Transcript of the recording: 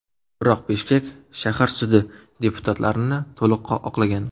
Biroq Bishkek shahar sudi deputatlarni to‘liq oqlagan.